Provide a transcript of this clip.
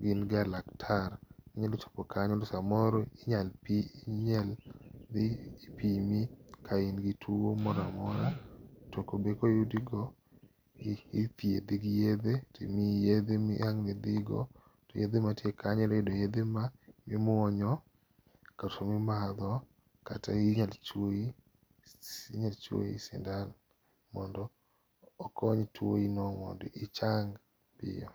gin ga laktar. Inyalo chopo kanyo to samoro inyalo pi ipi ipimi ka in gi tuo moro amora tobe koyudigo, to ithiedhi gi yedhe to imiyi yedhe be ma ang' nidhigo. Yedhe man tie kanyo inyalo yudo yedhe ma imuonyo, kata mimadho kata inyalo chuoyi, inyalo chuoyi sindan mondo okony tuo nino mondo ichang piyo.